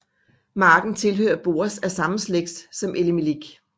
Marken tilhører Boaz af samme slægt som Elimelik